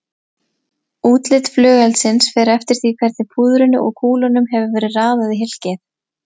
Útlit flugeldsins fer eftir því hvernig púðrinu og kúlunum hefur verið raðað í hylkið.